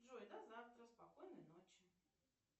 джой до завтра спокойной ночи